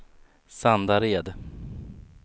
Sandared